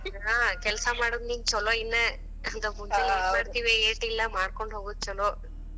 ಹಾ ಕೆಲಸ ಮಾಡೋದ ನಿಂದ ಛಲೋ ಇನ್ನ. ಮಾಡ್ಕೋಂಡ ಹೋಗದ ಛಲೋ.